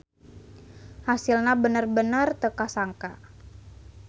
Hasilna bener-bener teu kasangka.